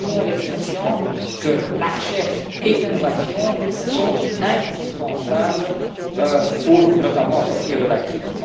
Tout le monde est conscient que la recherche et l'innovation sont indispensables pour, notamment, sortir de la crise.